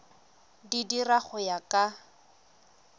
di dira go ya ka